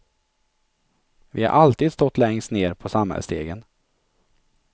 Vi har alltid stått längst ned på samhällsstegen.